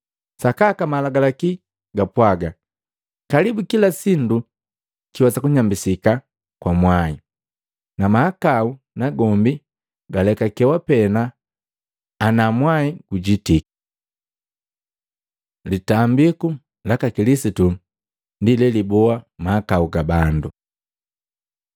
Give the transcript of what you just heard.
Sakaka malagalaki gapwaga, kalibu kila sindu kiwesa kunyambisika kwa mwai, na mahakau nagombi galekakewa pena ana mwai gujitiki. Litambiku laka Kilisitu ndi leliboa mahakau ga bandu